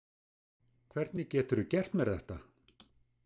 Hvernig geturðu gert mér þetta?